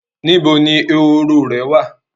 Níbo ni eworo rẹ wà?